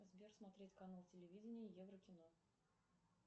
сбер смотреть канал телевидения еврокино